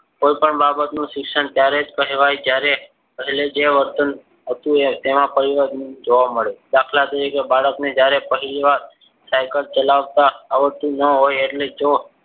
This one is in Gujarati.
કોઈપણ બાબતનું શિક્ષણ ત્યારે જ કહેવાય જ્યારે પહેલા જે વર્તન હતું તેમાં પરિવર્તન જોવા મળે. દાખલા તરીકે બાળકને જ્યારે પહેલીવાર cycle ચલાવતા આવડતું ના હોય. એટલે જો